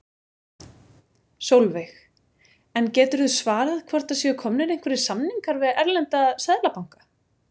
Sólveig: En geturðu svarað hvort það séu komnir einhverjir samningar við erlenda seðlabanka?